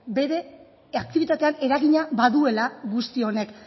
bere aktibitatean eragina baduela guzti honek